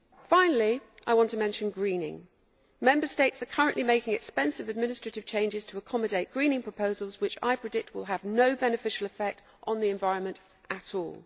Finally, I want to mention greening. Member States are currently making costly administrative changes to accommodate greening proposals, which I predict will have no beneficial impact on the environment at all.